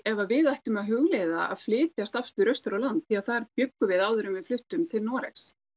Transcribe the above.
ef að við ættum að hugleiða að flytjast aftur austur á land því þar bjuggum við áður en við fluttum til Noregs